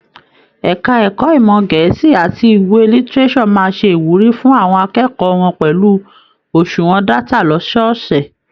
Ẹka ẹ̀kọ́ ìmọ gẹẹsi àti ìwé lítírésò má se ìwúrí fún àwọn akẹ́kọ̀ọ́ wọn pẹlú oṣuwọn data lọ́sọọsẹ̀.